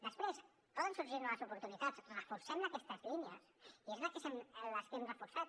després poden sorgir noves oportunitats reforcem aquestes línies i són les que hem reforçat